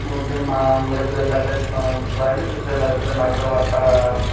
ଗୋଟେ ମା ଗୋଟେ ବେଲାଟେ ଥୁଆ ଥୁଆ ହେଇଛି ବେଲାଭିତରେ ମାଗୁର ମାଛ---